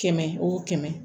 Kɛmɛ wo kɛmɛ